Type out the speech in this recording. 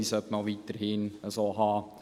Wir sollten diese weiterhin so haben.